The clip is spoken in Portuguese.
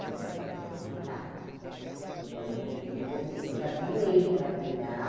E eu falei para ele, não dá, porque eu não vou não vou me eu já tenho ele para cuidar.